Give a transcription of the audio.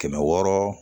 Kɛmɛ wɔɔrɔ